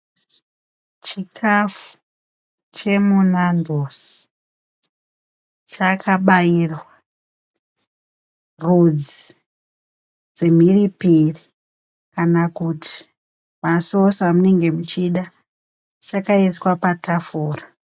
Chikafu chemuNandos chakabairwa rudzi dzemhiripiri kana kuti masosi amunenge muchida. Chakaiswa patafura.